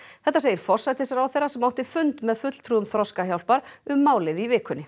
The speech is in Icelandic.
þetta segir forsætisráðherra sem átti fund með fulltrúum Þroskahjálpar um málið í vikunni